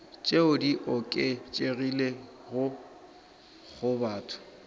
tšeo di oketšegilego go batho